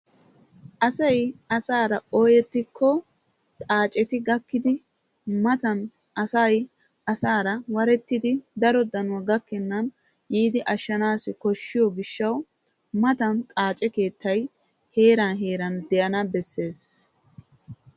Asay asaara ooyetikko xaacetti gakkiddi matan daro danoy gakennan ashaanassi koshiyo gishawu xaace keettay heeran heeran de'anna koshees.